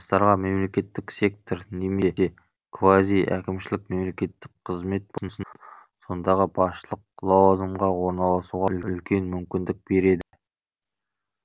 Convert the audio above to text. жастарға мемлекттік сектор немесе квазиәкімшілік мемлекеттік қызмет болсын сондағы басшылық лауазымға орналасуға үлкен мүмкіндік береді